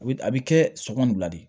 A bɛ a bɛ kɛ sɔɔni bila de